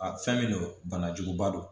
A fɛn min don banajuguba don